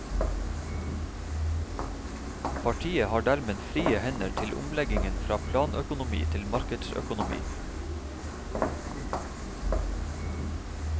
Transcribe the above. Partiet har dermed frie hender til omleggingen fra planøkonomi til markedsøkonomi.